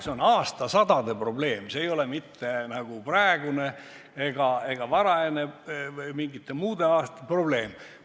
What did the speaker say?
See on aastasadade probleem, see ei ole mitte praegune ega mingite muude varasemate aastate probleem.